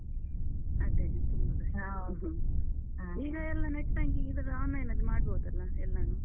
ಅದೇನೇ ತುಂಬಾ. ಎಲ್ಲಾ net banking ಇದ್ದದ್ದ್ online ಅಲ್ಲಿ ಮಾಡ್ಬೋದಲ್ಲ, ಎಲ್ಲನೂ?